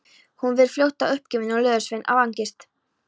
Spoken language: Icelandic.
Hún varð fljótt uppgefin og löðursveitt af angist.